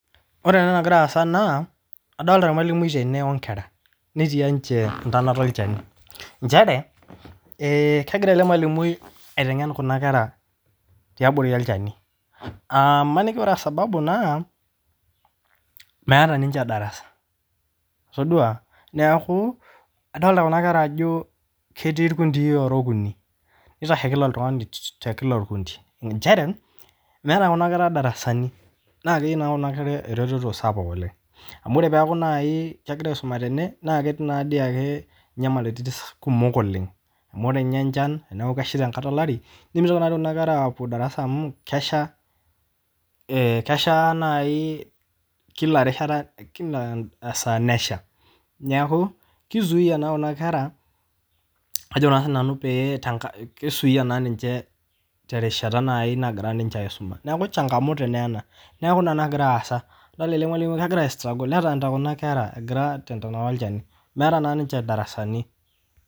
Ore ena nagira aasa naa adolita ilmwalumui tene onkera, netii ninche enkanoto elchani, inchere kegira ale irmwalumui aitengen kuna kera te abori olchani aa maniki ore esababu naa meata ninye edarasa, itodua naaku adolita kuna kera ajoo ketii lpuntii ora okuni, neitasho nkila ltungani te kila kikundi inchere meata kuna kerr darasani, naa keyeu naa kuna kerra rereto sapuk oleng amu ore peaku naii kegiran aisoma tene naa keti naa dei ake inyamaliritin kumok oleng, amu ore ninye inchan na kesha te nkata elari, nemeitoki naai nena kerr apo darasa amuu kesha naii kila rishata, kila saa nesha, neaku keisuuya naa kuna kerra ajo sii nanu keisuya naa ninche te rishata naii nagira ninche aisuma, naaku ina nagira aaasa, idolita ninye ormwalumui kegira aistruggle nedolita kuna kerra egira aton we nkolo ilchani, meata naa ninche ildarasani.